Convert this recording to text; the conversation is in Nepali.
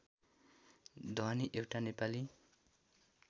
ध्वनि एउटा नेपाली